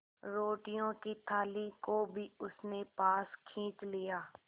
रोटियों की थाली को भी उसने पास खींच लिया